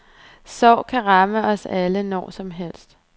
Sorg kan ramme os alle, når som helst.